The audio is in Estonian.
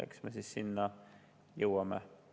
Eks me sinna jõuame.